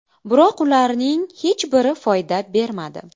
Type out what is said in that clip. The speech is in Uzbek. Biroq bularning hech biri foyda bermadi.